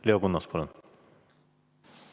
Leo Kunnas, palun!